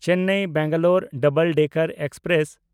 ᱪᱮᱱᱱᱟᱭ–ᱵᱮᱝᱜᱟᱞᱳᱨ double decker express